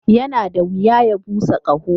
Yana da wuya ya busa ƙaho.